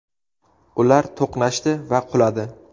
Ular to‘qnashdi va quladi.